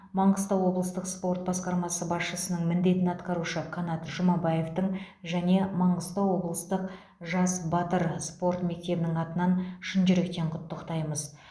маңғыстау облыстық спорт басқармасының басшысының міндетін атқарушы қанат жұмабаевтың және маңғыстау облыстық жас батыр спорт мектебінің атынан шын жүректен құттықтаймыз